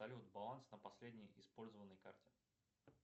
салют баланс на последней использованной карте